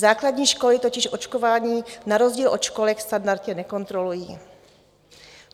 Základní školy totiž očkování na rozdíl od školek standardně nekontrolují.